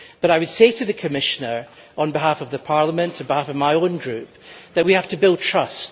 However, I would say to the Commissioner, on behalf of the Parliament and of my own group, that we have to build trust.